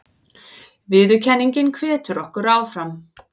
Viðurkenningin hvetur okkur áfram